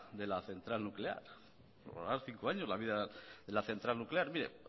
de la central nuclear prorrogar cinco años la vida de la central nuclear mire